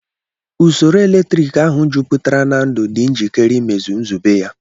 Usoro eletrik ahụ jupụtara na ndụ, dị njikere imezu nzube ya.